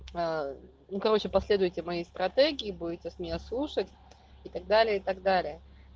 ну короче последуйте моей стратегии будете с меня слушать и так далее и так далее